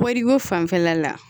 Kɔɔriko fanfɛla la